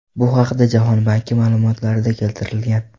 Bu haqda Jahon banki ma’lumotlarida keltirilgan .